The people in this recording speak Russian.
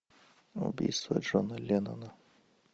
убийство джона леннона